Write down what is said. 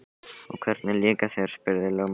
Og hvernig líkar þér, spurði lögmaður.